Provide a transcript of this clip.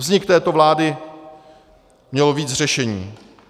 Vznik této vlády měl víc řešení.